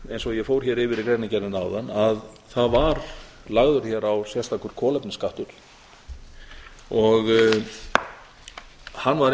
eins og ég fór hér yfir í greinargerðinni áðan að það var lagður hér á sérstakur kolefnisskattur og hann